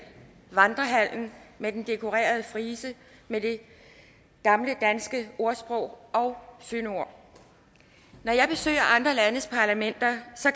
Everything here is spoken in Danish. vandrehallen med den dekorerede frise med de gamle danske ordsprog og fyndord når jeg besøger andre landes parlamenter